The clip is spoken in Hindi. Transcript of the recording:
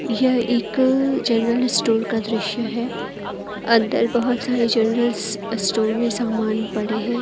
यह एक जनरल स्टोर का दृश्य है अंदर बहोत सारे जनरल स्टोर में समान पड़े हैं।